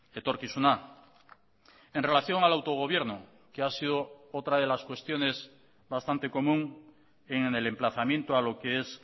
etorkizuna en relación al autogobierno que ha sido otra de las cuestiones bastante común en el emplazamiento a lo que es